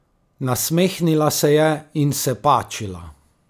Nasmehnila se je in se pačila.